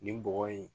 Nin bɔgɔ in